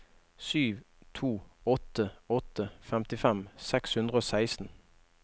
sju to åtte åtte femtifem seks hundre og seksten